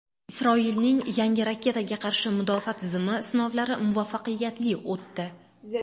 Isroilning yangi raketaga qarshi mudofaa tizimi sinovlari muvaffaqiyatli o‘tdi.